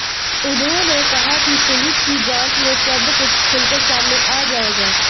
उन्होंने कहा कि पुलिस की जांच में सब कुछ खुलकर सामने आ जाएगा